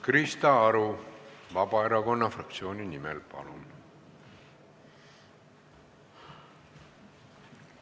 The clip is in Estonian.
Krista Aru Vabaerakonna fraktsiooni nimel, palun!